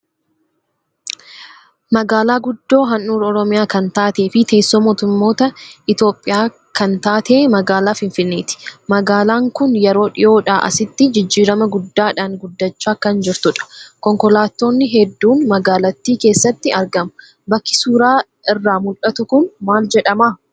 Magaalaa guddoo handhuura Oromiyaa kan taatee fi teessoo mootummaa Itoophiyaa kan taate magaalaa Finfinneeti. Magaalaan kun yeroo dhiyoodhaa asitti jijjiirama guddaadhaan guddachaa kan jirtudha. Konkolaattonni hedduun magaalattii keessatti argamu. Bakki suuraa irraa mul'atu kun maal jedhama?